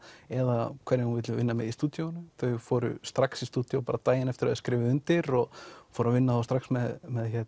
eða hverjum hún vill vinna með í stúdíóinu þau fóru strax í stúdíó bara daginn eftir að þau skrifuðu undir og fóru að vinna strax með